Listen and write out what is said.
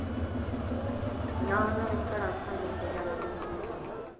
ਉੱਥੇ ਜਾਣਾ ਹੁੰਦਾ